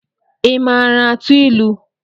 Ị maara atụ ịlụ?